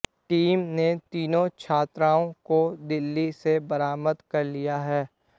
team ने तीनों छात्राओं को दिल्ली से बरामद कर लिया है